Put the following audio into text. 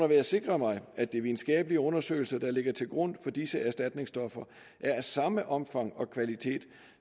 vil jeg sikre mig at de videnskabelige undersøgelser der ligger til grund for disse erstatningsstoffer er af samme omfang og kvalitet